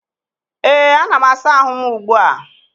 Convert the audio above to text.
ee, ana m asa ahụ m ugbu a